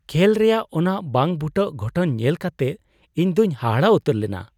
ᱠᱷᱮᱹᱞ ᱨᱮᱭᱟᱜ ᱚᱱᱟ ᱵᱟᱝᱼᱵᱩᱴᱟᱹ ᱜᱷᱚᱴᱚᱱ ᱧᱮᱞ ᱠᱟᱛᱮᱫ ᱤᱧ ᱫᱚᱧ ᱦᱟᱦᱟᱲᱟ ᱩᱛᱟᱹᱨ ᱞᱮᱱᱟ ᱾